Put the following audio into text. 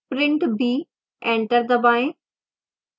print b enter दबाएं